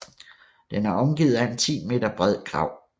Den er omgivet af en 10 meter bred grav